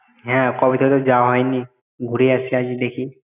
হ্যাঁ কবে থেকে যাওয়া হয়নি ঘুরে আসি আজ দেখি।